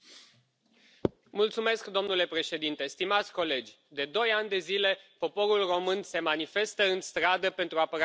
Domnule președinte, stimați colegi, de doi ani de zile poporul român se manifestă în stradă pentru apărarea valorilor europene.